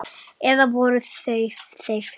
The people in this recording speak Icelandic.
Eða voru þeir fimm?